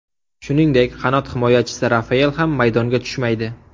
Shuningdek, qanot himoyachisi Rafael ham maydonga tushmaydi.